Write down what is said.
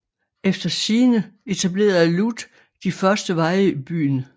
Efter sigende etablerede Lud de første veje i byen